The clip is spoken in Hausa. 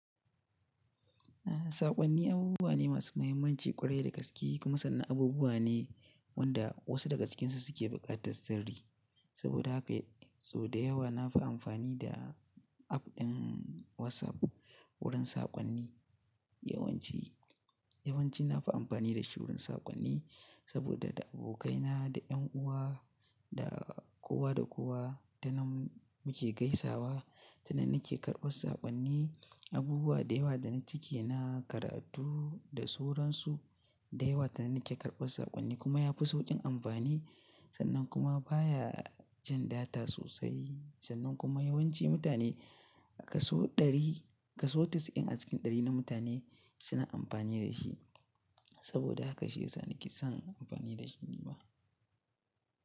Saƙonni abubuwa ne masu mahimmanci ƙwarai da gaske kuma sannan abubuwa ne wanda wasu daga cikinsu suke buƙatar sirri. Saboda haka sau da yawa na fi amfani da app ɗin WhatsApp wurin saƙonni. Yawan ci, yawanci na fi amfani da shi wurin saƙonni saboda da abokaina, da ’yan uwa da kowa da kowa tanan muke gaisawa. Tanan nake karɓar saƙonni abubuwa da yawa da na cike na karatu da sauransu da yawa tanan nake karɓar saƙonni kuma yafi sauƙin amfani. Sannan kuma baya jan data sosai sannan kuma yawanci mutane a kaso ɗari, kaso casa'in a cikin ɗari na mutane suna amfani da shi. Saboda haka shi yasa nake son amfani da shi nima.